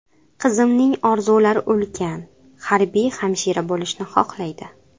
Qizimning orzular ulkan, harbiy hamshira bo‘lishni xohlaydi.